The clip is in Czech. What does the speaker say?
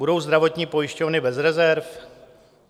Budou zdravotní pojišťovny bez rezerv?